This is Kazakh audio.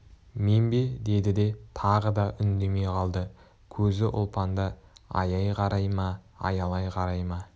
мен бе деді де тағы да үндемей қалды көзі ұлпанда аяй қарай ма аялай қарай ма